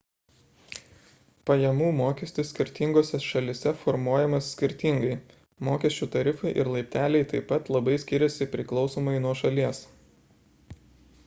pajamų mokestis skirtingose šalyse formuojamas skirtingai mokesčių tarifai ir laipteliai taip pat labai skiriasi priklausomai nuo šalies